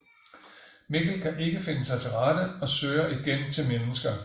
Mikkel kan ikke finde sig til rette og søger igen til mennesker